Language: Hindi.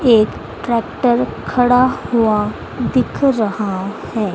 एक ट्रैक्टर खड़ा हुआ दिख रहा है।